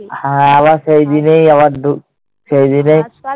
হ্যাঁ। আবার সেইদিনেই আবার, সেইদিনেই